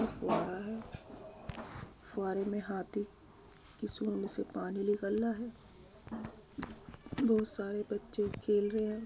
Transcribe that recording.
ये फुव्वारा है फुव्वारे में हाथी के सूंड से पानी निकल रहा है। बहुत सारे बच्चें खेल रहे हैं।